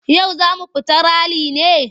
Yau za mu fita rali ne?